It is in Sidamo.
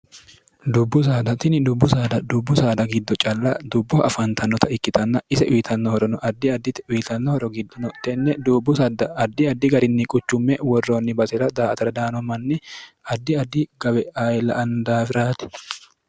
dubbu saadatini dubbu saada dubbu saada giddo calla dubboha afaantannota ikkitanna ise uyitannohorono addi addite wyitannohoro giddono tenne dubbu saadda addi addi garinni quchumme worroonni basi'ra daa atra daano manni addi addi gawe ayila andaafiraati